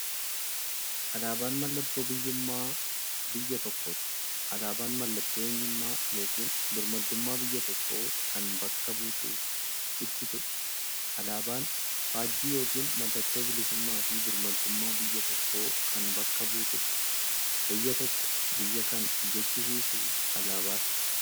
Alaabaan mallattoo biyyuummaa biyya tokkooti. Alaabaan mallattoo eenyummaa yookiin birmaadummaa biyya tokkoo kan bakka buutuuf ibsituudha. Alaabaan faajjii yookiin maallattoo bilisuummaafi birmaadummaa biyya tokkoo kan bakka buutuudha. Biyya tokko biyya kan jechisisuu alaabaadha.